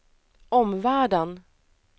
omvärlden